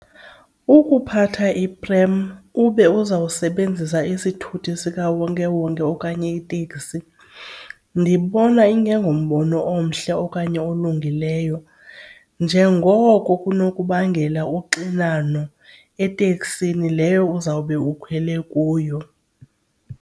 Ukuphatha iprem ube uzawusebenzisa isithuthi sikawonkewonke okanye iteksi ndibona ingengumbono omhle okanye olungileyo njengoko kunokubangela uxinano eteksini leyo uzawube ukhwele kuyo.